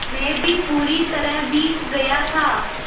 मैं भी पूरी तरह भीग गया था